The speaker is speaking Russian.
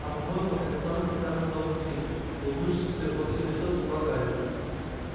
а по-моему это самый прекрасный дом на свете улыбнувшись всё во всё лицо сказал гарри